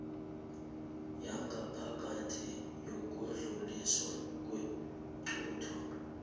yangaphakathi yokudluliswa kweenqunto